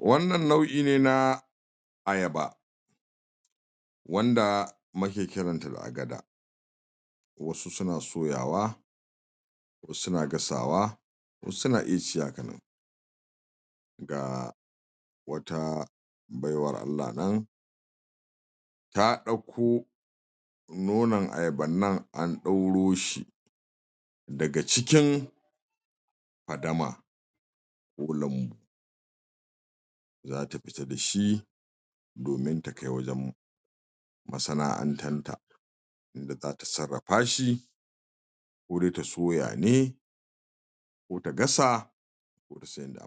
wannan nau'i ne na ayaba wanda muke kiran ta da agada wasu suna soyawa wasu suna gasawa wasu suna iya ci haka ga wata baiwar Allah nan ta dauko nonon ayaban nan an ɗauro shi daga cikin fadama ko lambu zata fita da shi domin ta kai wajen masana'antanta da zata sarafa shi kode ta soya ne ko ta gasa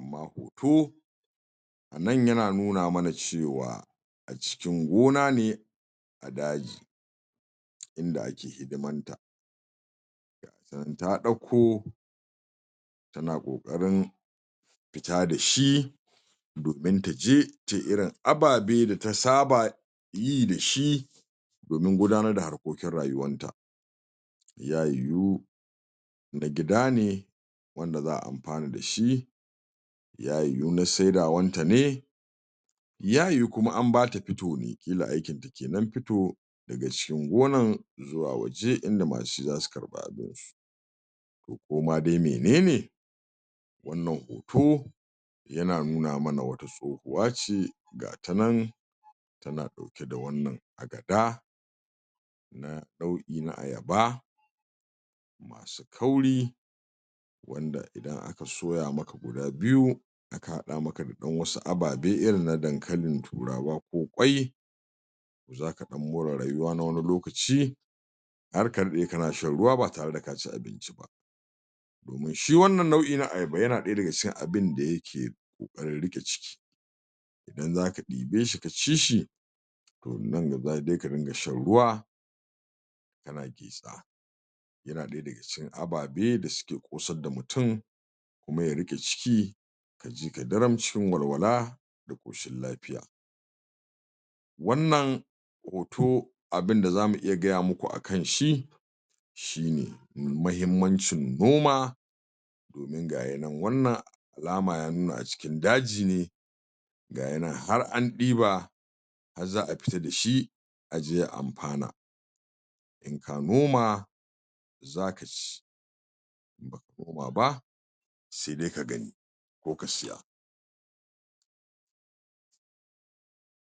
ma hoto nan yana nuna mana cewa cikin gona ne a daji inda ake hidiman ta nan ta dauko tana kokarin fita da shi domin taje irin abababe da ta saba yi da shi domin gudanar da harkokin rayuwan ta ya yiyu na gida ne wanda za'a amfana da shi ya yiyu na saida wan ta ne ya yiyu kuma an bata pito ne kila aikin kenan fito daga cikin gonan zuwa waje inda masu shi zasu karba toh koma dai menene wannan hoto yana nuna mana wato uwa ce ga ta nan tana dauke da wannan agada na ɗauri na ayaba kauri wanda idan aka soya maka guda biyu aka hada maka da dan wasu ababe irin na dankali turawa ko kwai zaka dan mora rayuwa na wani lokaci harka dai kana shan ruwa ba tare da ka ci abinci shi wannn nau'i na ayaba yana daya daga cikin abinda ya yake kokarin rike ciki idan zaka dibe shi ka ci shi toh nan za dai ka dinga shan ruwa yana daya daga cikin ababe da suke kosar da mutum kuma ya rike ciki kaji ka daram cikin walwala da koshin lafiya wannan hoto abinda zamu iya gaya muku akan shi shine mai mahimmancin noma toh nan ga'inan wannan alama ya nuna a cikin daji ne ga'inan har an diba har za'a fita dashi aje a amfana in ka noma zaka ci in baka noma ba sai dai ka gani ko ka siya